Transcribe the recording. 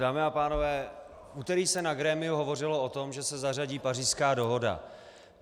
Dámy a pánové, v úterý se na grémiu hovořilo o tom, že se zařadí Pařížská dohoda.